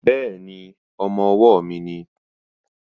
Bẹ́ẹ̀ni, ọmọ-ọwọ́ mi nìí